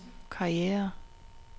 karriere